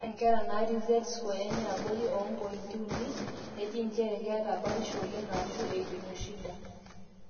ore inkera naatii z score enye abori oompointi uni neji injere keeta batisho oleng aashu eidimua shida